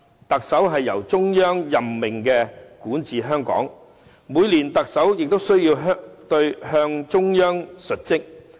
特首由中央任命管治香港，特首每年亦須向中央述職。